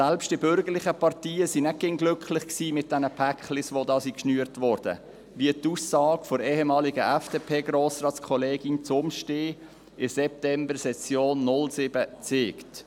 Selbst die bürgerlichen Parteien waren nicht immer glücklich über die geschnürten Pakete, wie die Aussage der ehemaligen FDP-Grossratskollegin Zumstein in der Septembersession 2007 zeigt.